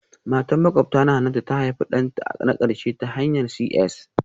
Matar makwabtana Hannatu ta haifi ɗanta na ƙarshe ta hanyar CS